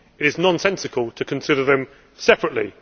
It is nonsensical to consider them separately.